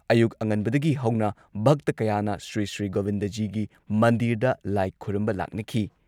ꯑꯌꯨꯛ ꯑꯉꯟꯕꯗꯒꯤ ꯍꯧꯅ ꯚꯛꯇ ꯀꯌꯥꯅ ꯁ꯭ꯔꯤꯁ꯭ꯔꯤ ꯒꯣꯕꯤꯟꯗꯖꯤꯒꯤ ꯃꯟꯗꯤꯔꯗ ꯂꯥꯏ ꯈꯨꯔꯨꯝꯕ ꯂꯥꯛꯅꯈꯤ ꯫